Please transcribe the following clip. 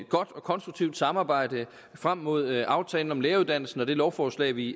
godt og konstruktivt samarbejde frem mod aftalen om læreruddannelsen og det lovforslag vi